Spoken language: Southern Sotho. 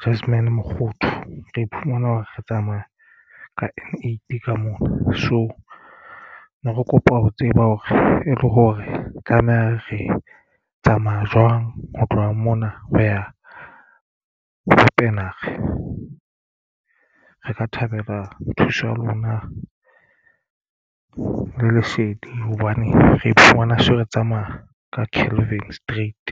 Jasmin Mokgothu re iphumana hore re tsamaya ka N8 ka mona so ne re kopa ho tseba hore e le hore tlameha re tsamaya jwang ho tloha mona ho ya Wepener re ka thabela thuso ya lona le lesedi hobane re iphumana se re tsamaya ka Calvin street.